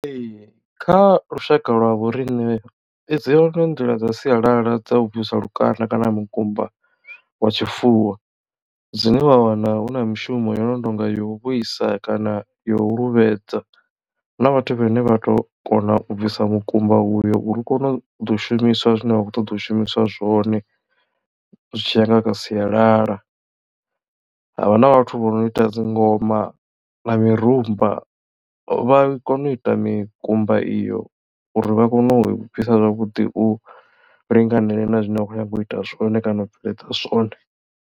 Ee kha lushaka lwa vho riṋe dzi hone nḓila dza sialala dza u bvisa lukanda kana mukumba wa tshifuwo dzine wa wana hu na mishumo yo no tonga ya u vhuisa kana yo luvhedzi huna vhathu vhane vha tou kona u bvisa mukumba uyo uri u kone u ḓo shumiswa zwine vha khou ṱoḓa u shumiswa zwone zwi tshiya nga kha sialala. Havha na vhathu vho no ita dzi ngoma na mirumba vha kona u ita mikumba iyo uri vha kone u bvisa zwavhuḓi u linganele na zwine vha khou nyanga u ita zwone kana u bveledza zwone.